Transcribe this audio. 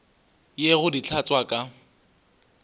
ye go di hlatswa ka